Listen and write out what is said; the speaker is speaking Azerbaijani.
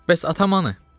Bəs atam hanı?